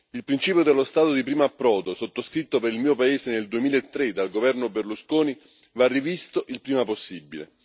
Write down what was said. Il principio dello Stato di primo approdo, sottoscritto per il mio paese nel 2003 dal governo Berlusconi, va rivisto il prima possibile.